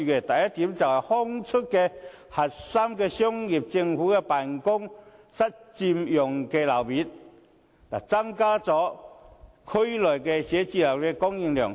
第一，騰出核心商業區政府辦公室佔用的樓面，增加區內寫字樓的供應量。